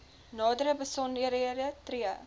nadere besonderhede tree